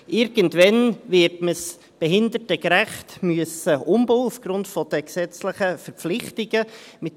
Irgendwann wird man es aufgrund der gesetzlichen Verpflichtungen behindertengerecht umbauen müssen.